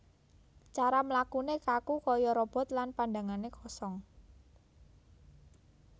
Cara mlakune kaku kaya robot lan pandhangane kosong